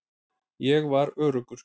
Ég var öruggur.